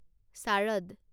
Sharad